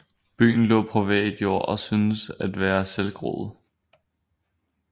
Byen lå på privat jord og synes at være selvgroet